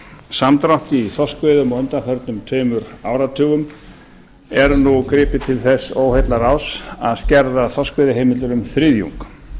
samdrátt í þorskveiðum á undanförnum tveimur áratugum er nú gripið til þess óheillaráðs að skerða þorskveiðiheimildir um þriðjung